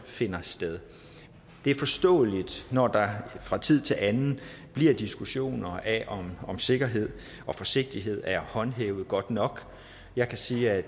finder sted det er forståeligt når der fra tid til anden er diskussioner af om sikkerhed og forsigtighed er håndhævet godt nok jeg kan sige at